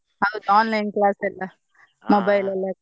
ಹೌದ್ online class ಎಲ್ಲಾ mobile ಅಲ್ಲೆ.